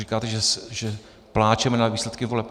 Říkáte, že pláčeme nad výsledky voleb.